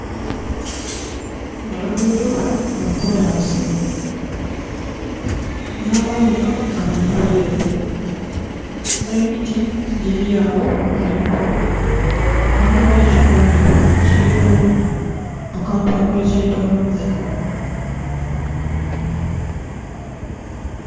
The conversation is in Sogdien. Oluguudo lwakolansi namayumba gali mberi ere nemiti giryagho kuno nhi kule ghaligho nhe kikondho kiliku akantu aka kyentoloze.